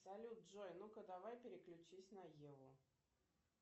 салют джой ну ка давай переключись на еву